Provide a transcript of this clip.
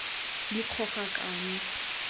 dikgogakano